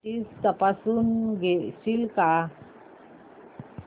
settings तपासून घेशील का